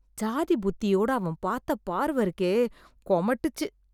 ஜாதி புத்தியோட அவன் பாத்த பார்வ இருக்கே! கொமட்டிச்சு